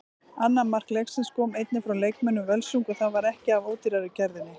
Annað mark leiksins kom einnig frá leikmönnum Völsungs og það var ekki af ódýrari gerðinni.